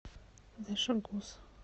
дашогуз